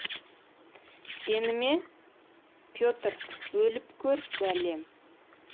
сені ме петр өліп көр бәлем